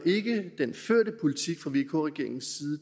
den førte politik fra vk regeringens